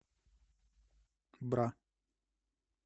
бра